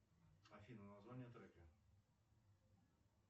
афина название трека